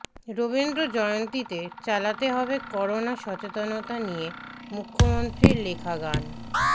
রবীন্দ্র জয়ন্তীতে চালাতে হবে করোনা সচেতনতা নিয়ে মুখ্যমন্ত্রীর লেখা গান